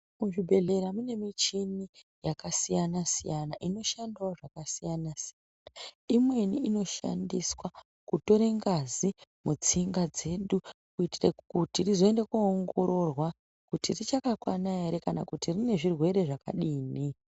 Muzvibhedhlera mune michini yakasiyana siyana inoshandawo zvakasiyana siyana imweni inoshandiswa kutore ngazi mutsinga dzedu kuitire kuti rizoende koongororwa kuti richakakwana ere kana kuti rine zvirwere zvakadini.